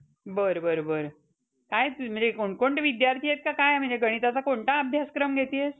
हम्म तेवढं तर आहे. एक तर राहिलाय विषय pass करायचा. आता बघू आता काय होतंय त्याचं.